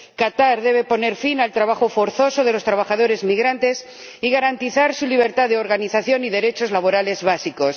Qatar debe poner fin al trabajo forzoso de los trabajadores migrantes y garantizar su libertad de organización y derechos laborales básicos.